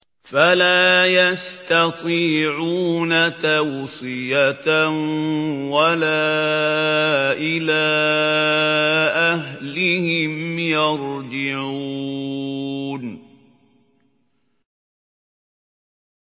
فَلَا يَسْتَطِيعُونَ تَوْصِيَةً وَلَا إِلَىٰ أَهْلِهِمْ يَرْجِعُونَ